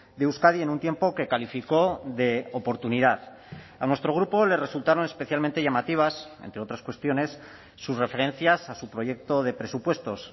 de euskadi en un tiempo que calificó de oportunidad a nuestro grupo le resultaron especialmente llamativas entre otras cuestiones sus referencias a su proyecto de presupuestos